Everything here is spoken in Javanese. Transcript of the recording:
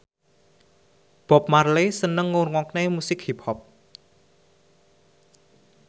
Bob Marley seneng ngrungokne musik hip hop